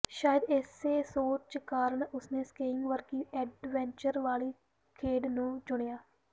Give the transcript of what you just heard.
ਸ਼ਾਇਦ ਇਸੇ ਸੋਚ ਕਾਰਨ ਉਸ ਨੇ ਸਕੀਇੰਗ ਵਰਗੀ ਐਡਵੈਂਚਰ ਵਾਲੀ ਖੇਡ ਨੂੰ ਚੁਣਿਆ